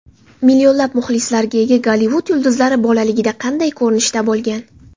Millionlab muxlislarga ega Gollivud yulduzlari bolaligida qanday ko‘rinishda bo‘lgan?